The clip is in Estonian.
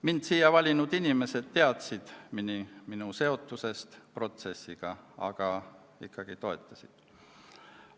Mind siia valinud inimesed teadsid minu seotusest protsessiga, aga ikkagi toetasid.